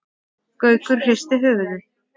Gaukur hristi höfuðið.